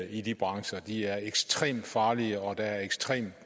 i de brancher de er ekstremt farlige og der er ekstremt